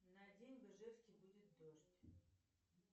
на день в ижевске будет дождь